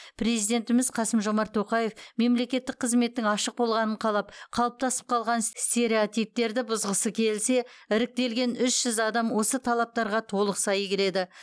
президентіміз қасым жомарт тоқаев мемлекеттік қызметтің ашық болғанын қалап қалыптасып қалған стереотиптерді бұзғысы келсе іріктелген үш жүз адам осы талаптарға толық сай келеді